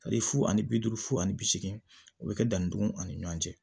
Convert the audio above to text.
Hali fu ani bi duuru fo ani bi seegin o bɛ kɛ dannidugu ani ɲɔgɔn cɛ